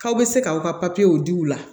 K'aw bɛ se k'aw ka papiyew di u la